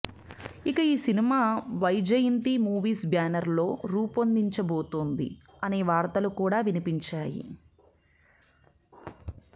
ఇక ఈ cinema Vyjayanthi movies banner లో రూపొందబోతుంది అనే వార్తలు కూడా వినిపించాయి